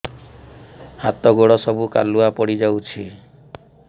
ହାତ ଗୋଡ ସବୁ କାଲୁଆ ପଡି ଯାଉଛି